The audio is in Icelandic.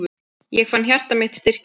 Ég fann hjarta mitt styrkjast.